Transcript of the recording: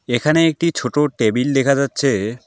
এখানে একটি ছোট টেবিল দেখা যাচ্ছে।